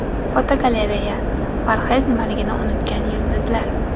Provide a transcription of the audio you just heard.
Fotogalereya: Parhez nimaligini unutgan yulduzlar.